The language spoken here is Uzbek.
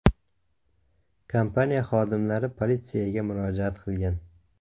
Kompaniya xodimlari politsiyaga murojaat qilgan.